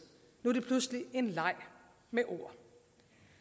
nu er det pludselig en leg med ord